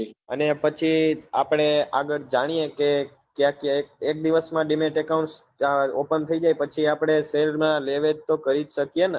અને પછી આપડે આગળ જાણીએ લે ક્યાક્યા એક દિવસ માં dimet account open થઇ જાય પછી આપડે share ના લે વેચ તો કરી જ શકીએ ને